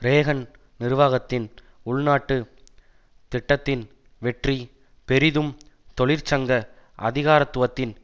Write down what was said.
Reagan நிர்வாகத்தின் உள்நாட்டுத் திட்டத்தின் வெற்றி பெரிதும் தொழிற்சங்க அதிகாரத்துவத்தின்